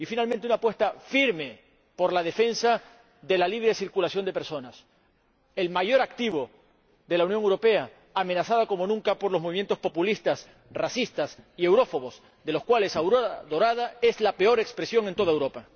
Y, finalmente una apuesta firme por la defensa de la libre circulación de personas, el mayor activo de la Unión Europea, amenazada como nunca por los movimientos populistas, racistas y eurófobos, de los cuales Aurora Dorada es la peor expresión en toda Europa.